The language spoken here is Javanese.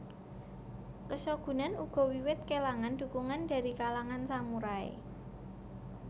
Keshogunan uga wiwit kelangan dukungan dari kalangan samurai